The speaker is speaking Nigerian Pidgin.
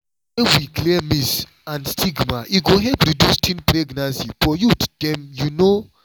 when we clear myths and stigma e go help reduce teen pregnancy for youth dem you know.